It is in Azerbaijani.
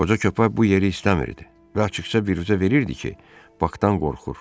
Qoca köpək bu yeri istəmirdi və açıqca biruzə verirdi ki, Bakdan qorxur.